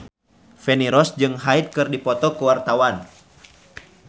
Feni Rose jeung Hyde keur dipoto ku wartawan